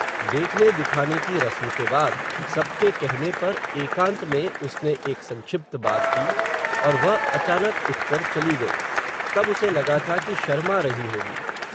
देखने दिखाने की रस्म के बाद, सबके कहने पर, एकांत में उसने, एक संक्षिप्त बात की, और वह, अचानक उठ कर चली गई, तब उसे लगा था कि शर्मा रही होगी